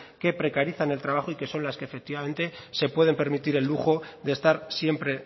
que precarizan el trabajo y que son las que efectivamente se puede permitir el lujo de estar siempre